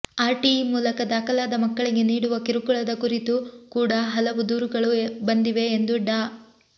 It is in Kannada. ಆರ್ಟಿಇ ಮೂಲಕ ದಾಖಲಾದ ಮಕ್ಕಳಿಗೆ ನೀಡುವ ಕಿರುಕುಳದ ಕುರಿತು ಕೂಡ ಹಲವು ದೂರುಗಳು ಬಂದಿವೆ ಎಂದು ಡಾ